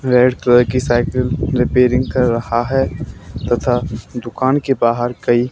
red colour की cycle repairing कर रहा है तथा दुकान के बाहर कई--